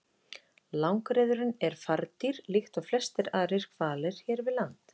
Langreyðurin er fardýr líkt og flestir aðrir hvalir hér við land.